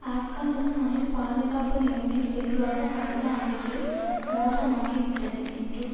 ஆப்கானிஸ்தானில் பாதுகாப்பு நிலைமை தெளிவாக கடந்த ஆண்டுகளில் மோசமாகிவிட்டது என்றும்